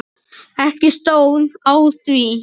Ekki stóð á því.